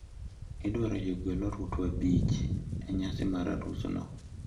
Idwaro jogwel oruto abich e nyasi mar arus no.